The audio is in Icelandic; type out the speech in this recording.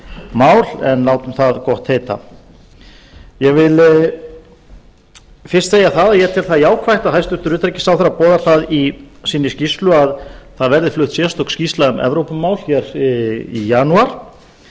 mál en látum það gott heita ég vil fyrst segja að ég tel það jákvætt að hæstvirtur utanríkisráðherra boðar það í sinni skýrslu að það verði flutt sérstök skýrsla um evrópumál í janúar